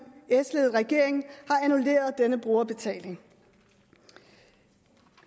s ledede regering har annulleret denne brugerbetaling